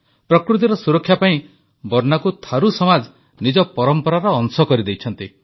ପ୍ରକୃତିର ସୁରକ୍ଷା ପାଇଁ ବର୍ନାକୁ ଥାରୁ ସମାଜ ନିଜ ପରମ୍ପରାର ଅଂଶ କରିଦେଇଛନ୍ତି